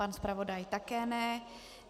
Pan zpravodaj také ne.